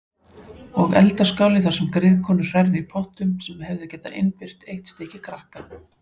Og eldaskáli þar sem griðkonur hrærðu í pottum sem hefðu getað innbyrt eitt stykki krakka.